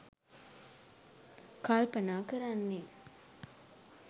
කල්පනා කරන්නේ.